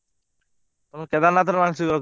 ତମେ କେଦାରନାଥରେ ମାନସିକ ରଖିଦେଇଛ କଣ ରଖିଛକି?